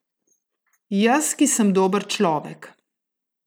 Jaz, ki sem dober človek!